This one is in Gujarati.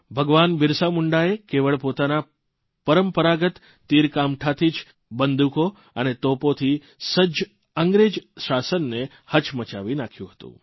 ભગવાન બિરસા મુંડાએ કેવળ પોતાના પરંપરાગત તીરકામઠાથી જ બંદૂકો અને તોપોથી સજ્જ અંગ્રેજી શાસનને હચમચાવી નાંખ્યું હતું